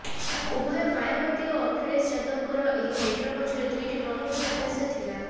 ଉଭୟ ମାୟାବତୀ ଓ ଅଖିଳେଶ ଯାଦବଙ୍କର ଏହି ମେଣ୍ଟ ପଛରେ ଦୁଇଟି ପ୍ରମୁଖ ଉଦ୍ଦେଶ୍ୟ ଥିଲା